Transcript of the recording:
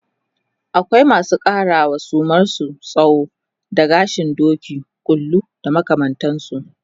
akwai masu ƙarawa suman su tsawo da gashin Doki, ƙulu da makamantansu